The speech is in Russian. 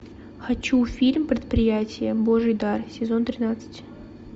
хочу фильм предприятие божий дар сезон тринадцать